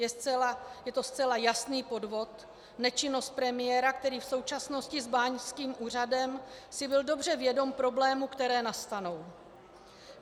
Je to zcela jasný podvod, nečinnost premiéra, který v součinnosti s báňským úřadem si byl dobře vědom problémů, které nastanou.